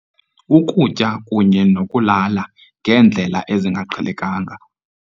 Ukutya kunye nokulala ngendlela ezingaqhelekanga.